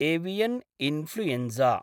avian influenza